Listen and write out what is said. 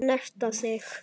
Snerta þig.